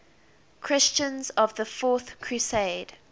christians of the fourth crusade